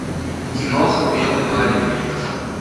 киноха белый парень рик